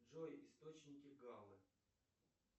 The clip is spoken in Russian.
джой источники галлы